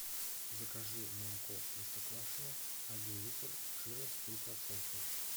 закажи молоко простоквашино один литр жирность три процента